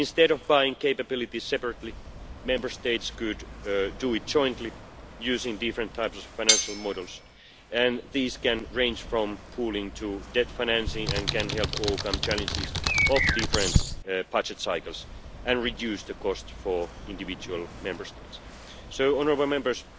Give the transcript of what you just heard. Instead of buying capability separately, Member States could do it jointly using different types of financial models, and these can range from pooling to debt financing and can help overcome challenges of different budget cycles and reduce the cost for individual Member States. Honourable